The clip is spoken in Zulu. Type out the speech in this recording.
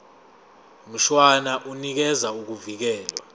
mshwana unikeza ukuvikelwa